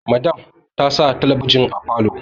Madam ta sa talabijin a falo